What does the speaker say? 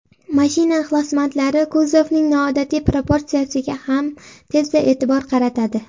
Mashina ixlosmandlari kuzovning noodatiy proportsiyasiga ham tezda e’tibor qaratadi.